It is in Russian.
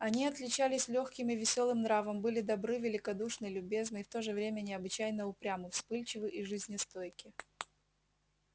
они отличались лёгким и весёлым нравом были добры великодушны любезны и в то же время необычайно упрямы вспыльчивы и жизнестойки